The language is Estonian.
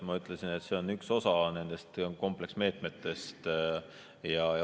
Ma ütlesin, et see on üks osa nendest kompleksmeetmetest.